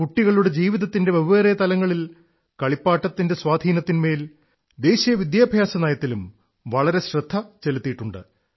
കുട്ടികളുടെ ജീവിതത്തിന്റെ വെവ്വേറെ തലങ്ങളിൽ കളിപ്പാട്ടത്തിന്റെ സ്വാധീനത്തിന്മേൽ ദേശീയ വിദ്യാഭ്യാസ നയത്തിലും വളരെ ശ്രദ്ധ ചെലുത്തിയിട്ടുണ്